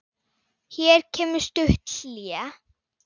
Hér kemur stutt hlé.